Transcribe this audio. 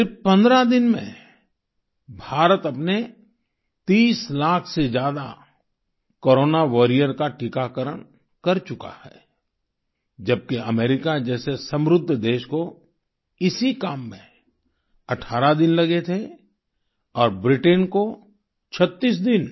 सिर्फ 15 दिन में भारत अपने 30 लाख से ज्यादा कोरोना वारियर का टीकाकरण कर चुका है जबकि अमेरिका जैसे समृद्ध देश को इसी काम में 18 दिन लगे थे और ब्रिटेन को 36 दिन